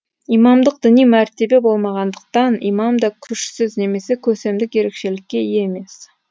имамдық діни мәртебе болмағандықтан имам да күшсіз немесе көсемдік ерекшелікке ие емес